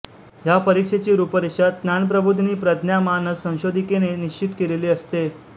ह्या परीक्षेची रूपरेषा ज्ञान प्रबोधिनी प्रज्ञा मानस संशोधिकेने निश्चित केलेली असते